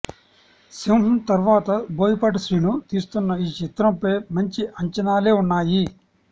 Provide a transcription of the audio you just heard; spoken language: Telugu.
సింహా తర్వాత బోయపాటి శ్రీను తీస్తున్న ఈ చిత్రంపై మంచి అంచానాలే ఉన్నాయి